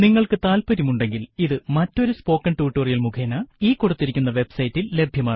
നിങ്ങൾക്കു താല്പര്യം ഉണ്ടെങ്കിൽ ഇത് മറ്റൊരു സ്പോക്കെൻ ടുട്ടോറിയൽ മുഖേന ഈ കൊടുത്തിരിക്കുന്ന വെബ് സൈറ്റിൽ ലഭ്യമാണ്